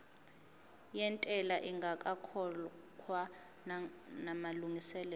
yentela ingakakhokhwa namalungiselo